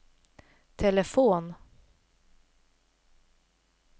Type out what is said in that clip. telefon